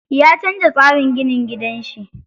Ya canza tsarin ginin gidan shi.